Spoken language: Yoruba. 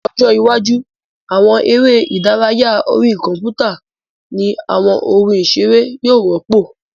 Ní ọjọ́ iwájú, àwọn eré ìdárayá orí kọ̀mpútà ní àwọn ohun ìseré yóò rọ́pò